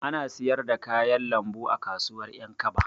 Ana siyar da kayan lambu a kasuwar Ƴankaba.